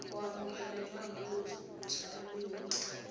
go amogelwa jaaka motshabi mo